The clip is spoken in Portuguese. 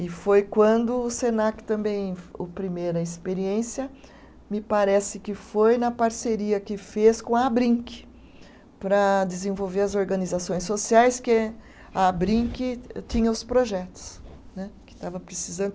E foi quando o Senac também, o primeira experiência, me parece que foi na parceria que fez com a Abrinq, para desenvolver as organizações sociais, que a Abrinq tinha os projetos né, que estava precisando.